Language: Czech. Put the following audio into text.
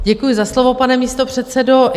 Děkuji za slovo, pane místopředsedo.